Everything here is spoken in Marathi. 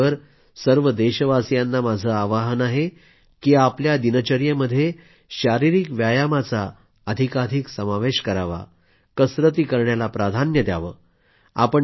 याचबरोबर सर्व देशवासियांना माझं आवाहन आहे की आपल्या दिनचर्येमध्ये शारीरिक व्यायामाचा अधिकाधिक समावेश करावा कसरती करण्याला प्राधान्य द्यावं